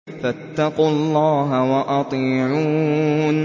فَاتَّقُوا اللَّهَ وَأَطِيعُونِ